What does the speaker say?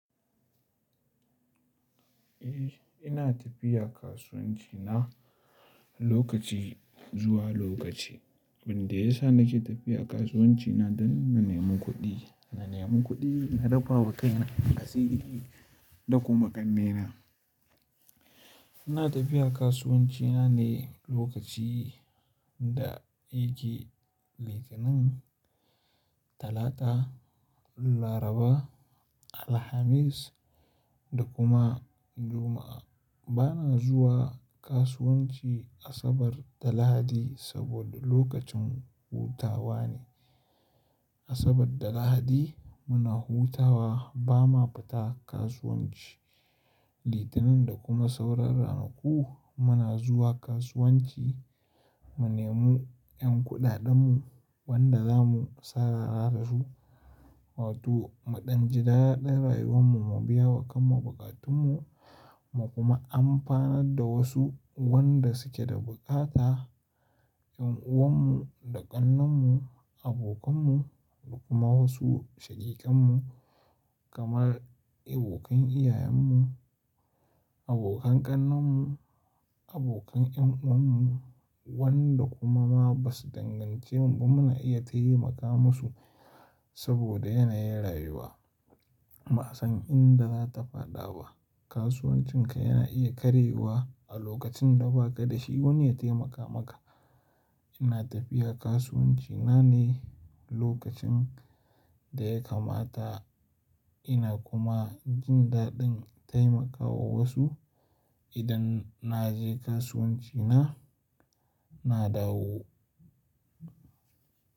Eh, ina tafiya kasuwanci na lokaci zuwa lokaci. Yanda ya sa nake tafiya kasuwanci na don na nemi kuɗi. Na nemi kuɗi, na rufawa kaina a siri da kuma ƙanne na. Ina tafiya kasuwanci na ne lokaci da yake Litinin, Talata, Laraba, Alhamis da kuma Juma'a. Bana zuwa kasuwanci Asabar da Lahadi saboda lokacin hutawa ne. Asabar da Lahadi muna hutawa, ba ma fita kasuwanci. Litinin da kuma sauran ranaku muna zuwa kasuwanci, mu nemo ƴan kuɗaɗenmu wanda za mu sarara da su, wato mu ɗan ji daɗa rayuwanmu, mu biya wa kanmu buƙatunmu, mu kuma amfanar da wasu wanda suke da bukata. Yan'uwanmu da ƙannenmu, abokanmu da kuma wasu shaƙikanmu kamar abokan iyayenmu, abokan ƙannenmu, abokan yan'uwanmu wanda kuma ma ba su dangance mu ba muna iya taimaka masu saboda yanayin rayuwa. Ba san inda za ta faɗa ba. Kasuwancinka yana iya karyewa a lokacin da ba ka da shi wani ya taimaka maka. Ina tafiya kasuwanci na ne lokacin da ya kamata. Ina kuma jin daɗin taimakawa wasu. Idan na je kasuwanci na, na dawo.